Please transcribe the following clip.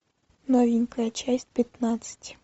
новенькая часть пятнадцать